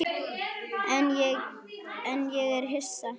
En ég er ekki hissa.